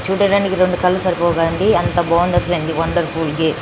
చూడడానికి రెండు కళ్ళు సరిపోత లేవు అంతా బాగుంది --